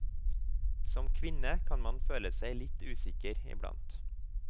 Som kvinne kan man føle seg litt usikker iblant.